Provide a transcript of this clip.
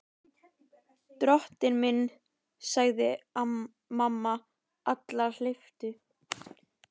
Drottinn minn, sagði mamma Alla hamhleypu.